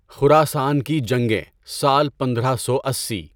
خراسان کی جنگیں، سال پندرہ سو اسی